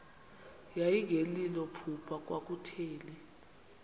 yayingelilo phupha kwakutheni